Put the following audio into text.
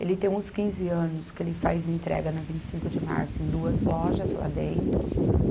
Ele tem uns quinze anos, que ele faz entrega na Vinte e cinco de março em duas lojas lá dentro.